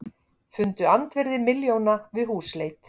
Fundu andvirði milljóna við húsleit